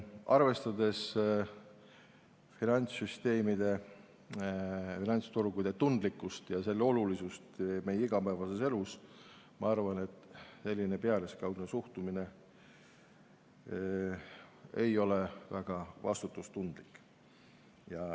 Arvestades finantssüsteemide, finantsturgude tundlikkust ja olulisust meie igapäevaelus, arvan ma, et selline pealiskaudne suhtumine ei ole väga vastutustundlik.